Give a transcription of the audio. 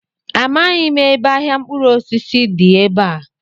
Amaghị m ebe ahịa mkpụrụosisi dị ebe a.